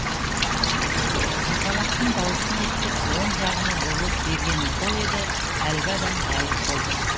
жапалақтың дауысын естіп оң жағыма бұрыла бергенім сол еді әлгі адам ғайып болды